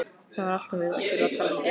Það var alltaf verið að gera talningu.